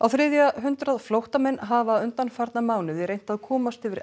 þriðja hundrað flóttamenn hafa undanfarna mánuði reynt að komast yfir